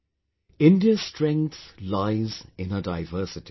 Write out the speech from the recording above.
Friends, India's strength lies in its diversity